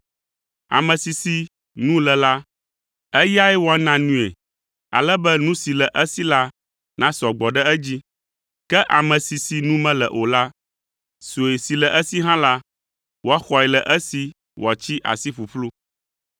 Ame si si nu le la, eyae woana nui ale be nu si le esi la nasɔ gbɔ ɖe edzi, ke ame si si nu mele o la, sue si le esi hã la, woaxɔe le esi wòatsi asi ƒuƒlu.